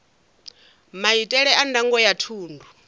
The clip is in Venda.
maitele a ndango ya thundu